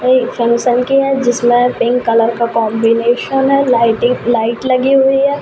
एक फंक्शन की है जिसमें पिंक कलर का कॉम्बिनेशन है लाइटें- लाइट लगी हुई है।